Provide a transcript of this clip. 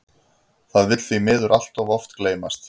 Það vill því miður allt of oft gleymast.